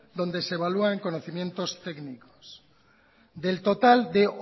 dónde se evalúan conocimientos técnicos del total de